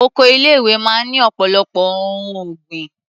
Oko ilé-ìwé máa ń ní ọ̀pọ̀lọpọ̀ ohun ọ̀gbìn.